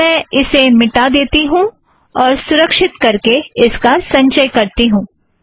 अब मैं इसे मिटा देती हूँ और सुरक्षीत करके इसका संचय करती हूँ